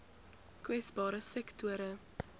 kwesbare sektore